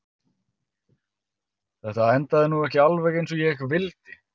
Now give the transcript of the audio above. Þetta endaði nú ekki alveg eins og ég vildi.